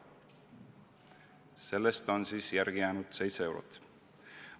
" Sellest on siis järele jäänud 7 eurot.